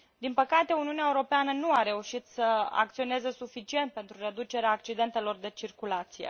Din păcate, Uniunea Europeană nu a reușit să acționeze suficient pentru reducerea accidentelor de circulație.